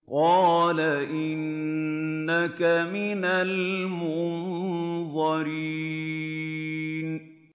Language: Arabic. قَالَ إِنَّكَ مِنَ الْمُنظَرِينَ